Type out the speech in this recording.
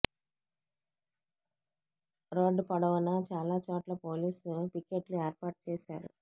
రోడ్డ పొడవునా చాలా చోట్ల పోలీసు పికెట్లు ఏర్పాటు చేశారు